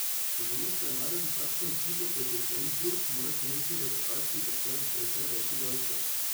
Če želiš premagati takšno ekipo, kot je Flensburg, moraš imeti v rotaciji precej več igralcev.